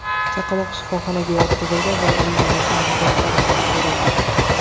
Chaqaloq shifoxonaga yotqizildi va uning onasini aniqlash choralari ko‘rildi.